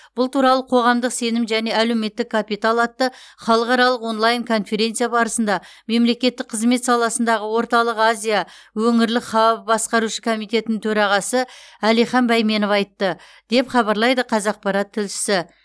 бұл туралы қоғамдық сенім және әлеуметтік капитал атты халықаралық онлайн конференция барысында мемлекеттік қызмет саласындағы орталық азия өңірлік хабы басқарушы комитетінің төрағасы әлихан байменов айтты деп хабарлайды қазақпарат тілшісі